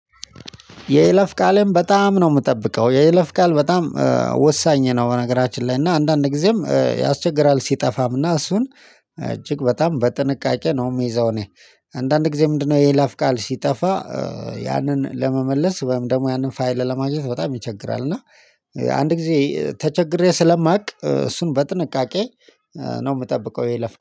የይለፍ ቃልም በጣም ነው የምጠብቀው የይለፍ ቃል በጣም ወሳኝ ነው በነገራችን ላይ እና አንዳንድ ጊዜም ያስቸግራል ሲጠፋም እና እሱን እጅግ በጣም በጥንቃቄ ነው የሚይዘው። እኔ አንዳንድ ጊዜ ምንድነው የላፍ ቃል ሲጠፋ? ያንን ለመመለስ ወይም ደግሞ ያንን ፋይል ለማድረግ በጣም ይቸግራል። እና አንድ ጊዜ ተቸግሬ ስለማውቅ እሱን በጥንቃቄ ነው የምጠብቀው። ይሄ ለፍቀው